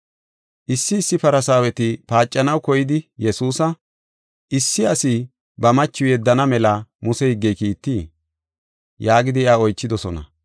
Issi issi Farsaaweti paacanaw koyidi Yesuusa, “Issi asi ba machiw yeddana mela Muse higgey kiittii?” yaagidi iya oychidosona.